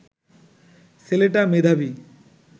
ছেলেটা মেধাবী